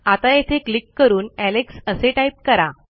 आता येथे क्लिक करून एलेक्स असे टाईप करा